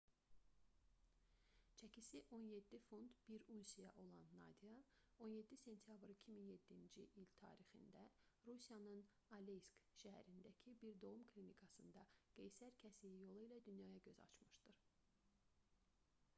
çəkisi 17 funt 1 unsiya olan nadya 17 sentyabr 2007-ci il tarixində rusiyanın aleysk şəhərindəki bir doğum klinikasında qeysər kəsiyi yolu ilə dünyaya göz açmışdır